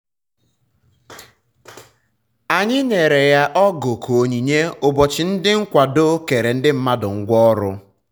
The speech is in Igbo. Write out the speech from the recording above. anyị anyị nyere ya ọgụ ka onyinye ụbọchị ndị nkwado kere ndị mmadụ ngwa ọrụ